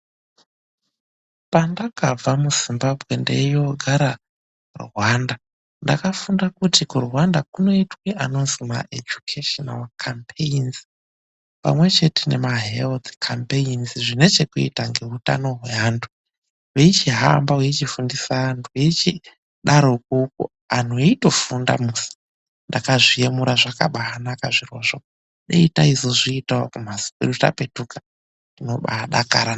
Pandakabva mu Zimbabwe ndeyoogara Rwanda, ndakafunda kuti kuRwanda kunoitwa anozwi ejukheshinari khambeinzi pamwepo nema heruti khambeinzi ane chekuita ngeutano hweanthu. Veichihamba veifundisa anthu, veichidaro kwokwo anthu eitofunda musi. Ndakabaazviemura zvakabaanaka zvirozvo. Dai tazozviitawo kumphatso kwedu tapetuka, tinobaadakara.